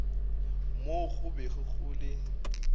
moo go bego go le